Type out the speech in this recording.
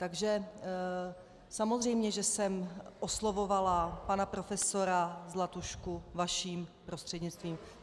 Takže samozřejmě, že jsem oslovovala pana profesora Zlatušku vaším prostřednictvím.